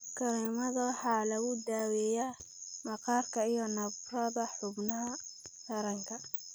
Kareemada waxaa lagu daaweeyaa maqaarka iyo nabarrada xubnaha taranka.